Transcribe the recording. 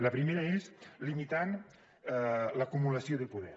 la primera és limitant l’acumulació de poder